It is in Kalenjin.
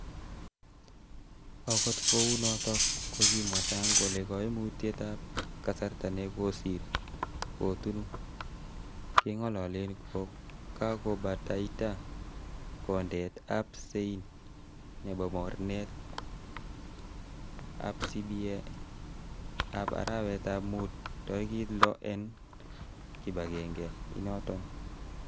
Okot kounoton kokimwa sang kole koimutyet ab kasarta nekosir kutun kengololen kokakobataita kondeet ab sein nebo mornetab CBA eb arawetab mut torigit loo en kibagenge inoton.